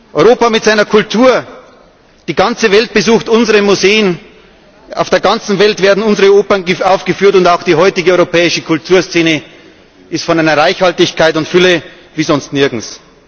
Europa mit seiner Kultur Die ganze Welt besucht unsere Museen, auf der ganzen Welt werden unsere Opern aufgeführt, und auch die heutige europäische Kulturszene ist von einer Reichhaltigkeit und Fülle wie sonst nirgends.